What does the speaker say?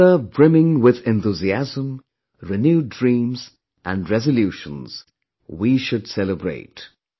Together brimming with enthusiasm, renewed dreams and resolutions we should celebrate